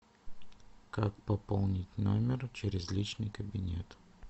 как пополнить номер через личный кабинет